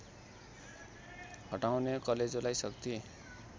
हटाउने कलेजोलाई शक्ति